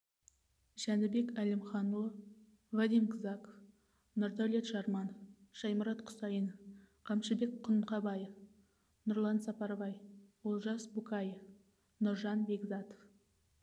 жанібек әлімханұлы вадим кзаков нұрдаулет жарманов шаймұрат құсайынов қамшыбек құнқабаев нұрлан сапарбай олжас букаев нұржан бекзатов